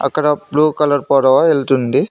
అక్కడ blue colour పడవ వెళ్తుంది.